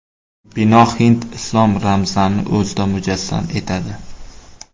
Bino hind-islom ramzlarini o‘zida mujassam etadi.